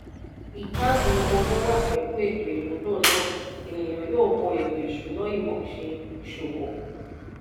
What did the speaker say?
ìkágun owó wá pẹ̀lú ètò ìmúlò náà ènìyàn yóò wo ètò ìṣúná-ìmọ̀ ṣe ìṣòwò.